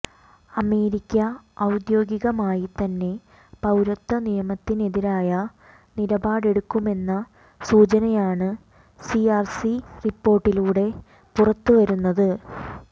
America ഔദ്യോഗികമായി തന്നെ പൌരത്വനിയമത്തിനെതിരായ നിലപാടെടുക്കുമെന്ന സൂചനയാണ് സിആര്സി റിപ്പോര്ട്ടിലൂടെ പുറത്തു വരുന്നത്